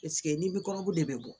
ni bɛ kɔnɔbu de bɛ bɔ